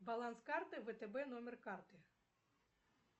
баланс карты втб номер карты